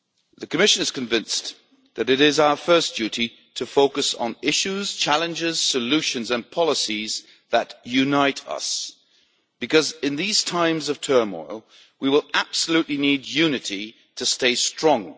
The Commission is convinced that it is our first duty to focus on issues, challenges, solutions and policies that unite us, because in these times of turmoil we will absolutely need unity to stay strong.